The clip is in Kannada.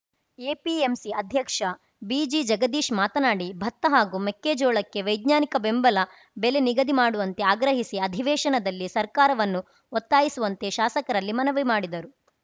ಎಪಿಎಂಸಿ ಅಧ್ಯಕ್ಷ ಬಿಜಿ ಜಗದೀಶ್‌ ಮಾತನಾಡಿ ಭತ್ತ ಹಾಗೂ ಮೆಕ್ಕೆಜೋಳಕ್ಕೆ ವೈಜ್ಞಾನಿಕ ಬೆಂಬಲ ಬೆಲೆ ನಿಗದಿ ಮಾಡುವಂತೆ ಆಗ್ರಹಿಸಿ ಅಧಿವೇಶನದಲ್ಲಿ ಸರ್ಕಾರವನ್ನು ಒತ್ತಾಯಿಸುವಂತೆ ಶಾಸರಲ್ಲಿ ಮನವಿ ಮಾಡಿದರು